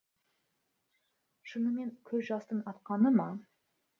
шынымен көз жастың атқаны ма